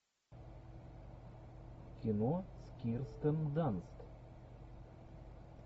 кино с кирстен данст